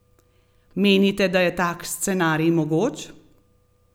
Menite, da je tak scenarij mogoč?